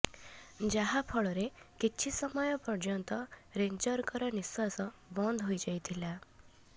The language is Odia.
ଯାହା ଫଳରେ କିଛି ସମୟ ପର୍ୟ୍ୟନ୍ତ ରେଞ୍ଜରଙ୍କର ନିଶ୍ବାସ ବନ୍ଦ ହୋଇଯାଇଥିଲା